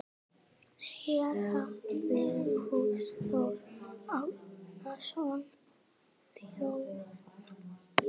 Séra Vigfús Þór Árnason þjónar.